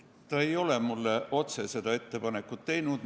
Ta ei ole mulle otse seda ettepanekut teinud.